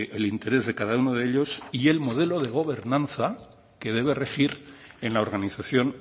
el interés de cada uno de ellos y el modelo de gobernanza que debió regir en la organización